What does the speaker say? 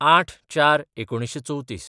०८/०४/१९३४